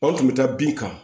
An tun bɛ taa bin kan